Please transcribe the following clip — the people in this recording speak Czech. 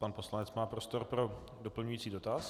Pan poslanec má prostor pro doplňující dotaz.